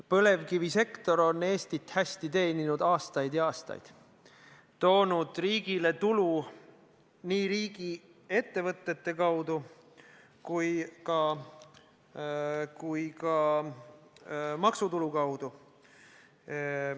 Põlevkivisektor on Eestit hästi teeninud aastaid ja aastaid, toonud riigile tulu nii riigiettevõtete kaudu kui ka maksutulu kaudu.